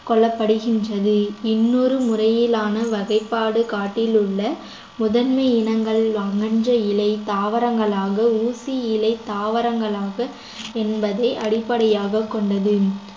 கொள்ளப்படுகின்றது இன்னொரு முறையிலான வகைப்பாடு காட்டிலுள்ள முதன்மை இனங்கள் அமைஞ்ச இலை தாவரங்களாக ஊசி இலை தாவரங்களாக என்பதை அடிப்படையாகக் கொண்டது